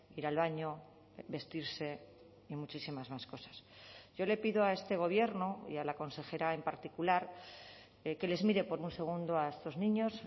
ir al baño vestirse y muchísimas más cosas yo le pido a este gobierno y a la consejera en particular que les mire por un segundo a estos niños